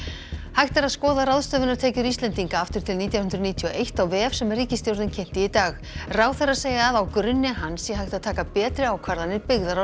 hægt er að skoða ráðstöfunartekjur Íslendinga aftur til nítján hundruð níutíu og eitt á vef sem ríkisstjórnin kynnti í dag ráðherrar segja að á grunni hans sé hægt að taka betri ákvarðanir byggðar á